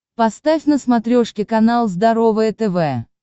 поставь на смотрешке канал здоровое тв